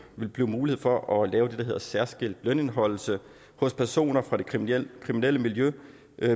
ville blive mulighed for at lave det der hedder særskilt lønindeholdelse hos personer fra det kriminelle kriminelle miljø